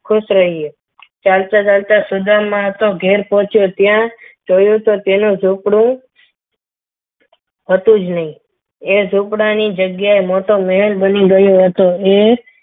ખુશ રહ્યો ચાલતા ચાલતા સુદામા તો ઘરે પહોંચ્યો ત્યાં જોયું તો તેનું ઝુંપડું હતું જ નહીં તે ઝુંપડા ની જગ્યાએ મોટો મહેલ બની ગયો હતો.